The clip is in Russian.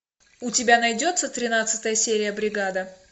у тебя найдется тринадцатая серия бригада